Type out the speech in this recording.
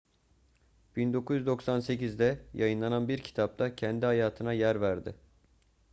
1998'de yayınlanan bir kitapta kendi hayatına yer verdi